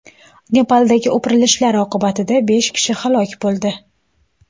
Nepaldagi o‘pirilishlar oqibatida besh kishi halok bo‘ldi .